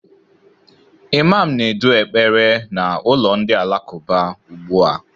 Imam na-edu ekpere na ụlọ ndị alakụba ugbu a